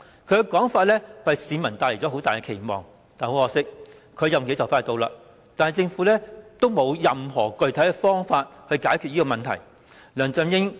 他這說法為市民帶來很大期望，但很可惜，他的任期快將完結，而政府並無任何具體方法解決這問題。